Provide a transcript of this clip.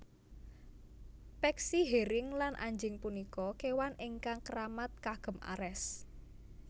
Peksi hering lan anjing punika kewan ingkang keramat kagem Ares